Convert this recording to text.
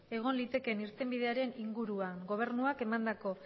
egon litekeen irtenbidearen inguruan gobernuak emandako